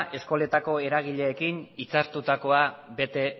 eskoletako eragileekin itzartutakoa bete